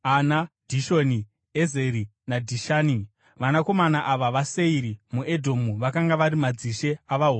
Dhishoni, Ezeri naDhishani. Vanakomana ava vaSeiri muEdhomu vakanga vari madzishe avaHori.